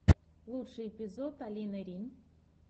лучший эпизод алины рин